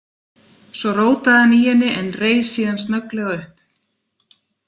Svo rótaði hann í henni en reis síðan snögglega upp.